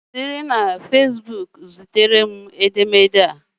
Siri na fesbuku zitere m edemede a